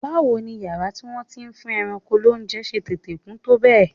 Báwo ni yàrá tí wọ́n ti ń fún ẹran lóúnjẹ ṣe tètè kún tó bẹ́ẹ̀?